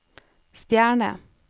stjerne